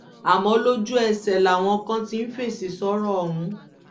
àmọ́ lójú-ẹsẹ̀ làwọn kan ti ń fèsì sọ̀rọ̀ ọ̀hún